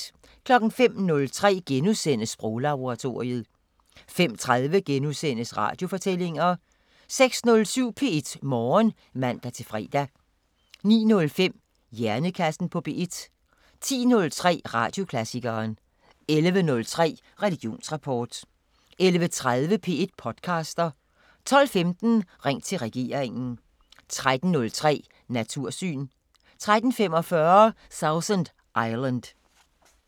05:03: Sproglaboratoriet * 05:30: Radiofortællinger * 06:07: P1 Morgen (man-fre) 09:05: Hjernekassen på P1 10:03: Radioklassikeren 11:03: Religionsrapport 11:30: P1 podcaster 12:15: Ring til regeringen 13:03: Natursyn 13:45: Sausan Island